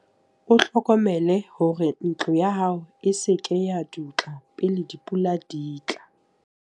O hlokomele hore ntlo ya hao e se ke ya dutla pele dipula di tla.